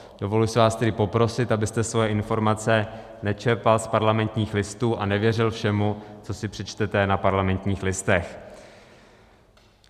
Dovoluji si vás tedy poprosit, abyste svoje informace nečerpal z Parlamentních listů a nevěřil všemu, co si přečtete na Parlamentních listech.